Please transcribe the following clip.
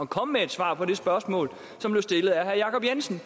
komme med et svar på det spørgsmål som blev stillet af herre jacob jensen